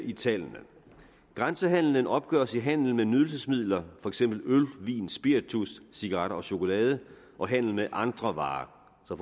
i tallene grænsehandelen opgøres i handel med nydelsesmidler for eksempel øl vin spiritus cigaretter og chokolade og handel med andre varer som